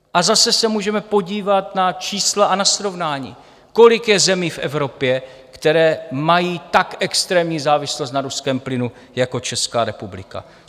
A zase se můžeme podívat na čísla a na srovnání, kolik je zemí v Evropě, které mají tak extrémní závislost na ruském plynu jako Česká republika.